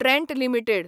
Trent limited